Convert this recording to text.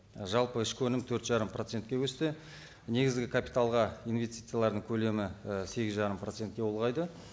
і жалпы ішкі өнім төрт жарым процентке өсті негізгі капиталға инвестициялардың көлемі і сегіз жарым процентке ұлғайды